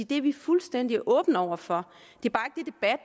det er vi fuldstændig åbne over for det